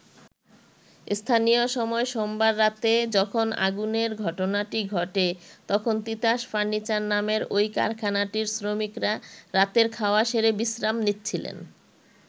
স্থানীয় সময় সোমবার রাতে যখন আগুনের ঘটনাটি ঘটে তখন তিতাস ফার্নিচার নামের ওই কারাখানাটির শ্রমিকরা রাতের খাওয়া সেরে বিশ্রাম নিচ্ছিলেন।